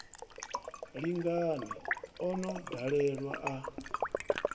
lingani o no ḓalelwa a